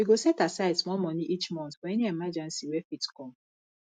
we go set aside small money each month for any emergency wey fit come